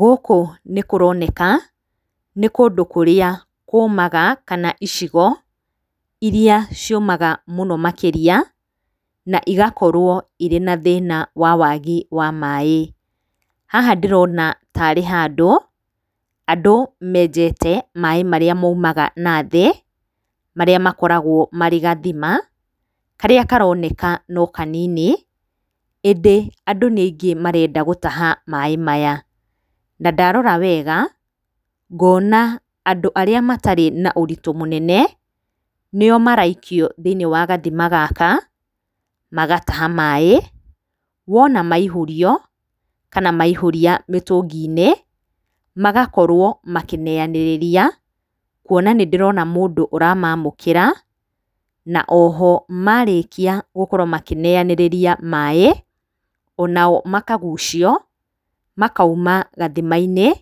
Gũkũ nĩ kũroneka, nĩ kũndũ kũrĩa kũmaga kana icigo iria ciũmaga mũno makĩria, na igakorwo irĩ na thĩna wa wagi wa maĩ. Haha ndĩrona tarĩ handũ, andũ menjete maĩ marĩa maumaga nathĩ, marĩa makoragwo marĩ gathima, karĩa karoneka no kanini, ĩndĩ andũ nĩ aingĩ marenda gũtaha maĩ maya. Na ndarora wega ngona andũ arĩa matarĩ na ũritũ mũnene, nĩo maraikio thĩ-inĩ wa gathima gaka, magataha maĩ, wona maihũrio kana maihũria mĩtũngi-inĩ, magakorwo makĩneanĩria, kuona nĩ ndĩrona mũndũ ũramamũkĩra, na oho marĩkia gũkorwo makĩneyanĩria maĩ, o nao makagucio, makauma gathima-inĩ,